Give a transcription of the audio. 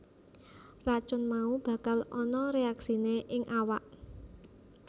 Racun mau bakal ana reaksiné ing awak